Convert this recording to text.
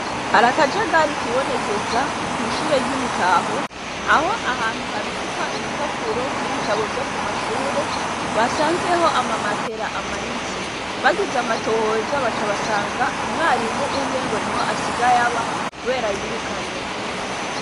Hari akajagari kibonekeza kw'ishure ry'i Mutaho aho ahantu habikwa ibipapuro n'ibitabo vyo ku mashure basanzeho amamatera amanitse bagize amatohoza baca basanga umwarimu umwe ngo niho asigaye aba kubera yirukanywe